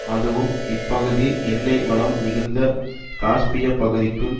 அதுவும் இப்பகுதி எண்ணெய் வளம் மிகுந்த காஸ்பிய பகுதிக்கும்